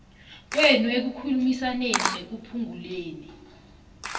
kwenu ekukhulumisaneni nekuphunguleni